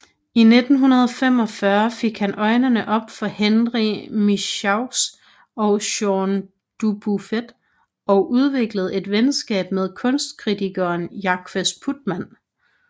I 1945 fik han øjnene op for Henri Michaux og Jean Dubuffet og udviklede et venskab med kunstkritikeren Jacques Putman